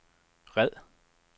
red